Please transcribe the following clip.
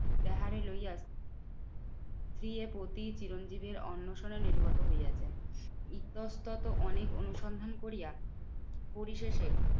তাহারে লইয়া স্ত্রীয়ের প্রতি চিরঞ্জিতের অনশনের নির্গত হইয়াছে। ইতস্ততঃ অনেক অনুসন্ধান করিয়া পরিশেষে